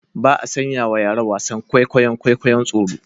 Ba a sanyawa yara wasan kwaikwayon kwikwayon tsoro